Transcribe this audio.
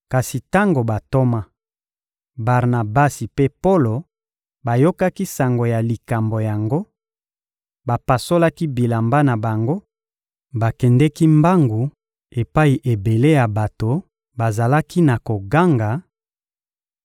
Kasi tango bantoma, Barnabasi mpe Polo, bayokaki sango ya likambo yango, bapasolaki bilamba na bango, bakendeki mbangu epai ebele ya bato bazalaki na koganga: